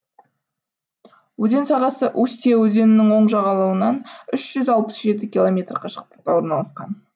өзен сағасы устья өзенінің оң жағалауынан үш жүз алпыс жеті километр қашықтықта орналасқан